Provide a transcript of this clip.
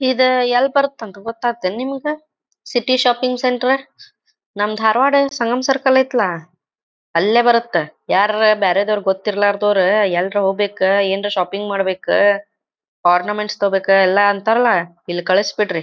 ಇದು ಎಲ್ ಬರತ್ ಅಂತ ಗೊತ್ತಾತ್ ಏನ್ ನಿಮ್ಗ್ ? ಸಿಟಿ ಶಾಪಿಂಗ್ ಸೆಂಟರ್ ನಮ್ ಧಾರ್ವಾಡ್ ಸಂಗಮ್ ಸರ್ಕಲ್ ಐತಲ ಅಲ್ಲೇ ಬರುತ್ತ. ಯರ್ರಾರ ಬ್ಯಾರೇದಾವ್ರ ಗೊತ್ತಿರಲಾರದವ್ರ ಎಲ್ರ ಹೋಗ್ಬೇಕ ಏನ್ರ ಶಾಪಿಂಗ್ ಮಾಡ್ಬೇಕ್ ಓರ್ನಾಮೆಂಟ್ಸ್ ತಗೋಬೇಕ ಅಂತ ಅಂತಾರಲ್ಲ ಇಲ್ಲಿ ಕಳಿಸ್ಬಿಡ್ರಿ.